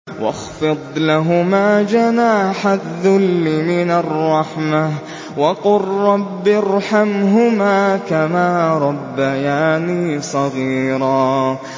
وَاخْفِضْ لَهُمَا جَنَاحَ الذُّلِّ مِنَ الرَّحْمَةِ وَقُل رَّبِّ ارْحَمْهُمَا كَمَا رَبَّيَانِي صَغِيرًا